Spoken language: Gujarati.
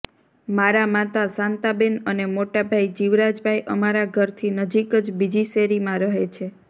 મારા માતા શાંતાબેન અને મોટા ભાઇ જીવરાજભાઇ અમારા ઘરથી નજીક જ બીજી શેરીમાં રહે છે